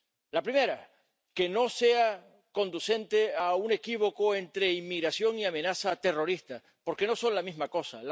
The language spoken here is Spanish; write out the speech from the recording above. La primera, que no sea conducente a un equívoco entre inmigración y amenaza terrorista, porque no son la misma cosa.